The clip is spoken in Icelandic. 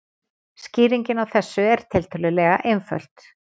Skýringin á þessu er tiltölulega einföld.